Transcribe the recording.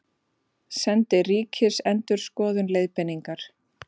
Sendi Ríkisendurskoðun leiðbeiningar